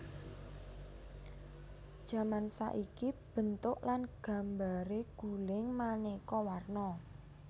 Jaman saiki bentuk lan gambaré guling manéka warna